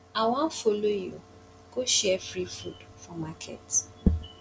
i wan follow you go share free food for market